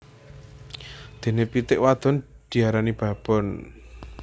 Dene pitik wadon diarani babon